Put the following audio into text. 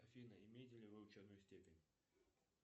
афина имеете ли вы ученую степень